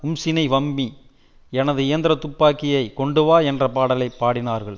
Umshini Wami எனது இயந்திர துப்பாக்கியை கொண்டுவா என்ற பாடலை பாடினார்கள்